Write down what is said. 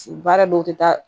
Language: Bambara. Baara dɔw tɛ taa